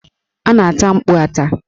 A na-ata mkpu ata.